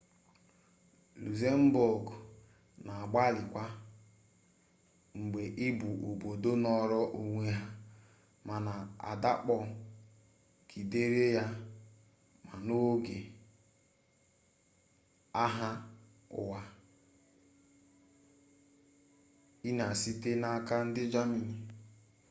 luxembourg na-agbalị kwa mgbe ị bụ obodo nọrọ onwe ha mana adakpọ gidere ya ma n'oge agha ụwa i na ii site n'aka ndị gamani